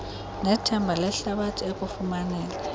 nethemba lehlabathi ekufumaneni